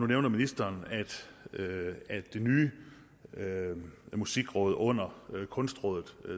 nævner ministeren at det nye musikudvalg under kunstrådet